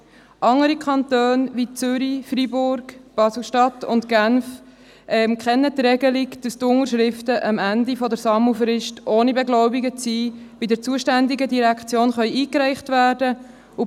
Andere Kantone, wie Zürich, Freiburg, Basel-Stadt oder Genf kennen die Regelung, dass die Unterschriften am Ende der Sammelfrist noch nicht beglaubigt sind und direkt bei der zuständigen Direktion eingereicht werden können.